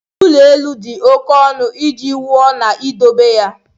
ụlọ elu dị oke ọnụ iji wuo na idobe ya.